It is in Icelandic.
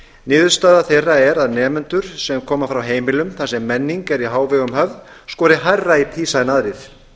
niðurstaða þeirra er að nemendur sem koma frá heimilum þar sem menning er í hávegum höfð skori hærra í pisa en aðrir